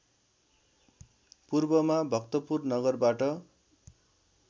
पूर्वमा भक्तपुर नगरबाट